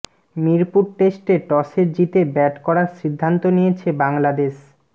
মিরপুর টেস্টে টসে জিতে ব্যাট করার সিদ্ধান্ত নিয়েছে বাংলাদেশ